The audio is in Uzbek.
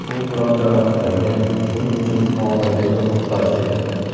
U biroz jarohatlangan, shuning uchun muolajaga muhtoj edi.